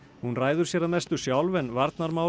hún ræður sér að mestu sjálf en varnarmál